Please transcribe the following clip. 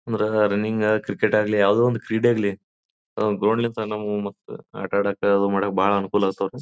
ಅಂದರೆ running cricket ಆಗಲಿ ಯಾವುದೇ ಒಂದು ಕ್ರೀಡೆ ಆಗಲಿ ಅದೊಂದ್ ಗೋಲ್ಡ್ ಲಿಂತ ನಮಗ್ ಮತ್ತ ಆಟ ಆಡಕೆ ಮಡಕೆ ಬಾಳ ಅನುಕೂಲ ಆಗ್ತವರಿ.